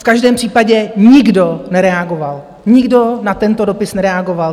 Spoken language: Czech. V každém případě nikdo nereagoval, nikdo na tento dopis nereagoval.